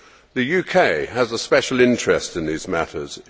The UK has a special interest in these matters.